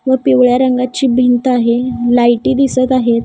व पिवळ्या रंगाची भिंत आहे लाईटी दिसतं आहेत.